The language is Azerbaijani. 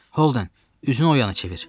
Holden, üzünü o yana çevir.